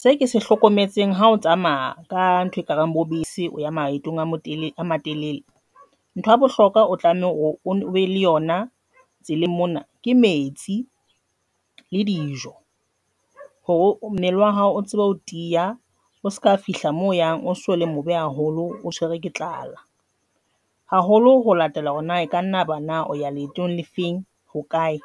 Se ke se hlokometseng hao tsamaya, ka ntho e kareng bo bese ya maetong a matelele ntho ya bohlokwa, o tlameha hore obe le yona tseleng mona ke metsi le dijo hore mmele wa hao o tsebe ho tiya o seka fihla mo yang o so le mobe haholo, o tshwere ke tlala haholo ho latela hore na eka nna ba na o ya leetong le feng ho kae,